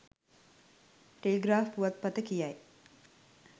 Telegraph පුවත් පත කියයි.